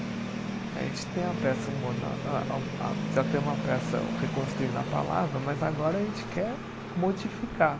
A gente tem a peça Humor na a a a, já tem uma peça reconstruindo a palavra, mas agora a gente quer modificar.